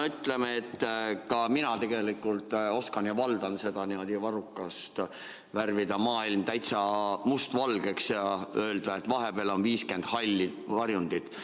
No ütleme, et tegelikult ka mina valdan seda niimoodi varrukast – värvida maailm täitsa mustvalgeks ja öelda, et vahepeal on 50 halli varjundit.